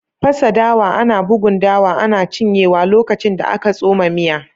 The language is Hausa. Fasa dawa, ana bugun dawa ana cinyewa lokacin da aka tsoma miya